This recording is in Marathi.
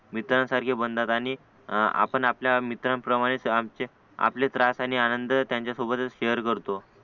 मित्रासारखे बनतात आणि आपण आपल्या मित्रांप्रमाणे आमचे आपले त्रास आणि आनंद त्यांचासोबतच शेयर करतो